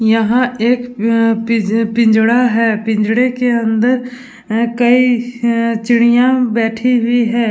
यहाँ एक अ पिज पिंजड़ा है। पिंजड़े के अंदर अ कई अ चिड़िया बैठी हुई हैं।